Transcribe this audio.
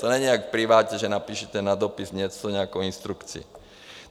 To není jak v privátu, že napíšete na dopis něco, nějakou instrukci.